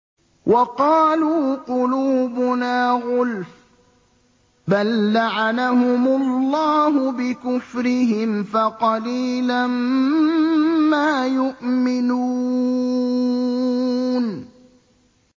وَقَالُوا قُلُوبُنَا غُلْفٌ ۚ بَل لَّعَنَهُمُ اللَّهُ بِكُفْرِهِمْ فَقَلِيلًا مَّا يُؤْمِنُونَ